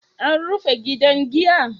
An rufe gidan giya?